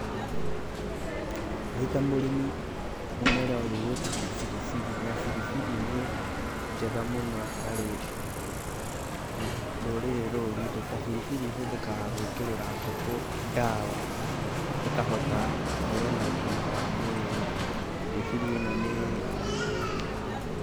Ndĩ ta mũrĩmi, mũmera ũyũ wetagwa biribiri. Na biribiri nĩ njega mũno harĩ rũrĩrĩ rou rwitũ. Ta biribiri hothekaga gwĩkerera ngũkũ ndawa ĩkahota gũkorwo na ũgima wa mwĩrĩ. Biribiri ĩno nĩ.